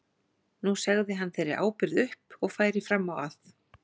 Nú segði hann þeirri ábyrgð upp og færi fram á að